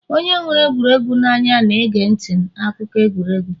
onye hụrụ egwuregwu n'anya na-ege ntị akụkọ egwuregwu